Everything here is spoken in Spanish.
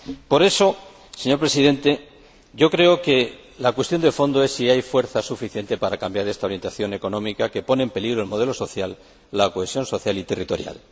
Por eso, señor Presidente, creo que la cuestión de fondo es si hay fuerza suficiente para cambiar esta orientación económica, que pone en peligro el modelo social y la cohesión social y territorial.